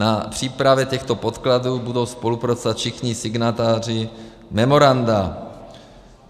Na přípravě těchto podkladů budou spolupracovat všichni signatáři memoranda.